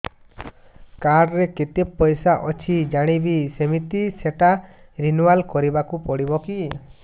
card ରେ କେତେ ପଇସା ଅଛି ଜାଣିବି କିମିତି ସେଟା ରିନୁଆଲ କରିବାକୁ ପଡ଼ିବ କି